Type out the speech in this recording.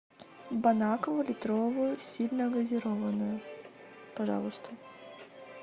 бон аква литровую сильногазированную пожалуйста